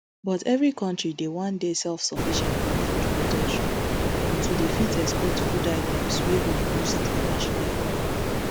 but evri kontri dey wan dey selfsufficient for food production and to fit export food items wey go boost di national economy